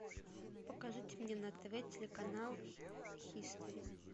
покажите мне на тв телеканал хистори